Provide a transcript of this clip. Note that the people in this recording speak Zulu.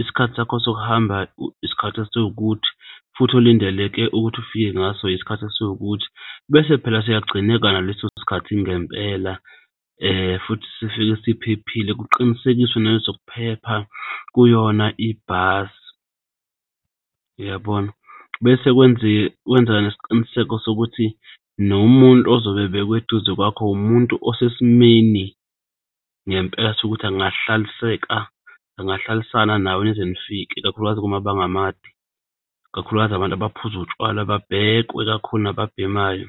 isikhathi sakho sokuhamba, isikhathi esiwukuthi futhi elindeleke ukuthi ufike ngaso, isikhathi esiwukuthi bese phela siyagcineka naleso sikhathi ngempela futhi sifike siphephile. Kuqinisekiswe nale zokuphepha kuyona ibhasi uyabona. Bese kwenzeke nesiqiniseko sokuthi nomuntu ozobe ebekwe eduze kwakho umuntu osesimeni ngempela sokuthi angahlaliseka angahlalisana nawe nize nifike ikakhulukazi kumabanga amade, kakhulukazi abantu abaphuza utshwala, babhekwe kakhulu, nababhemayo.